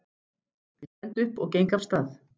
Ég stend upp og geng af stað.